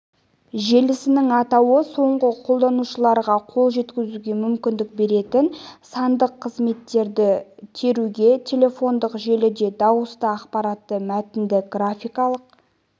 желісінің атауы соңғы қолданушыларға қол жеткізуге мүмкіндік беретін сандық қызметтерді теруге телефондық желіде дауысты ақпаратты мәтінді графикалық